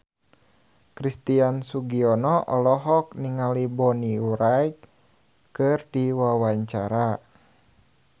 Christian Sugiono olohok ningali Bonnie Wright keur diwawancara